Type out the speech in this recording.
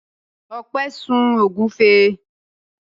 Ọpẹ́ sun ògúnfe.